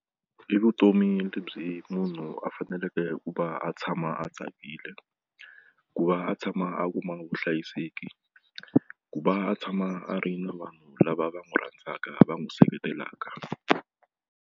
I vutomi lebyi munhu a faneleke hikuva a tshama a tsakile ku va a tshama a kuma vuhlayiseki ku va a tshama a ri na vanhu lava va n'wi rhandzaka va n'wi seketelaka.